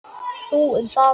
Þú um það.